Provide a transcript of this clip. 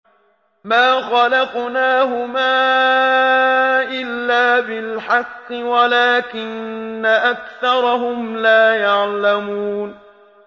مَا خَلَقْنَاهُمَا إِلَّا بِالْحَقِّ وَلَٰكِنَّ أَكْثَرَهُمْ لَا يَعْلَمُونَ